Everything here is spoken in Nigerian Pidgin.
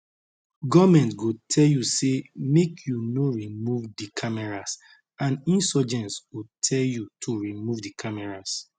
goment go tell you say make you no remove di cameras and insurgents go tell you to remove di cameras